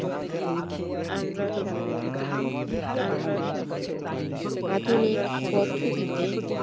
আধুনিক পদ্ধতিতে